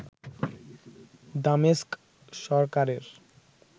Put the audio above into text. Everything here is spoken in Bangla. দামেস্ক সরকারের